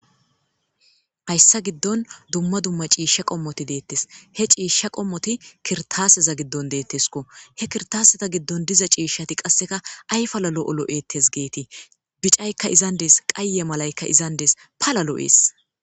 Hayssan dumma dumma ciishshati kirttaase giddon dizayssi beetteeshe cisha qomoti kirtaseza gidon detesko kirtaseza gidon qaseka palla lo'o loes getes bicayka izzan des qaye malayka iza gidon dandes pala lo'es